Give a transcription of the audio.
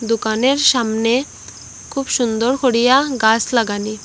দোকানের সামনে খুব সুন্দর করিয়া গাস লাগানি।